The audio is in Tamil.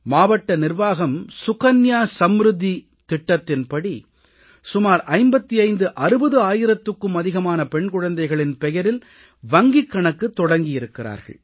மாவட்ட நிர்வாகம் செல்வமகள் சேமிப்பு சுகன்யா சம்ருத்தி திட்டத்தின்படி சுமார் 5560 ஆயிரத்துக்கும் அதிகமான பெண் குழந்தைகளின் பெயரில் வங்கிக் கணக்குத் தொடங்கியிருக்கிறார்கள்